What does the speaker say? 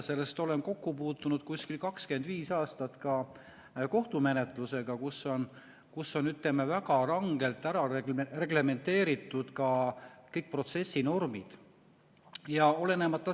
Sellepärast, et olen kokku puutunud umbes 25 aastat ka kohtumenetlusega, kus on väga rangelt reglementeeritud kõik protsessinormid.